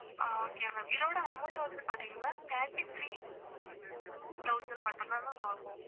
அஹ் okay ma'am okay இதோட amount வந்து பாத்திங்கன்னா thirty-three thousand மட்டும் தான் ma'am ஆகும்